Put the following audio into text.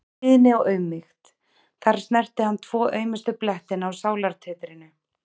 Hlýðni og auðmýkt- þar snerti hann tvo aumustu blettina á sálartetrinu.